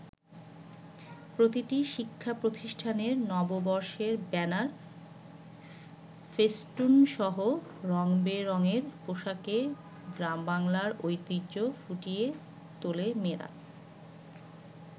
প্রতিটি শিক্ষাপ্রতিষ্ঠানের নববর্ষের ব্যানার, ফেস্টুনসহ রং-বেরংয়ের পোশাকে গ্রামবাংলার ঐতিহ্য ফুটিয়ে তোলে মেয়েরা।